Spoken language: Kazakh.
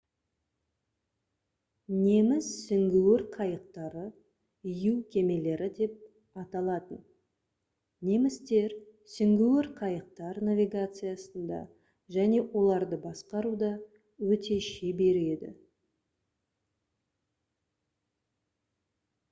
неміс сүңгуір қайықтары «u кемелері» деп аталатын. немістер сүңгуір қайықтар навигациясында және оларды басқаруда өте шебер еді